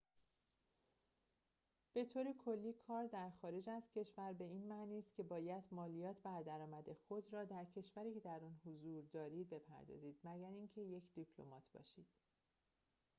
به‌طورکلی کار در خارج از کشور به این معنی است که باید مالیات بر درآمد خود را در کشوری که در آن حضور دارید بپردازید مگر اینکه یک دیپلمات باشید